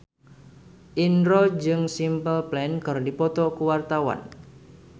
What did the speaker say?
Indro jeung Simple Plan keur dipoto ku wartawan